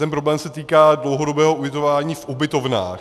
Ten problém se týká dlouhodobého ubytování v ubytovnách.